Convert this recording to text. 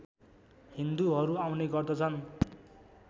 हिन्दूहरू आउने गर्दछन्